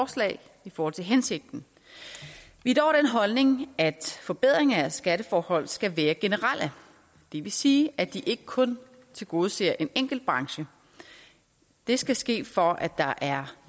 forslag i forhold til hensigten vi er dog af den holdning at forbedringer af skatteforhold skal være generelle det vil sige at de ikke kun tilgodeser en enkelt branche det skal ske for at der er